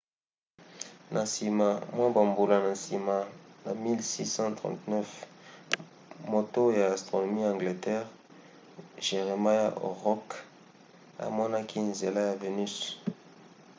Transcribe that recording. na nsima mwa bambula na nsima na 1639 moto ya astronomi ya angleterre jeremiah horrokc amonaki nzela ya venus